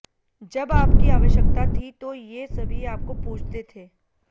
जब आपकी आवश्यकता थी तो ये सभी आपको पूजते थे